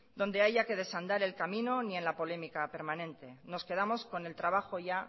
donde haya que desandar el camino ni en la polémica permanente nos quedamos con el trabajo ya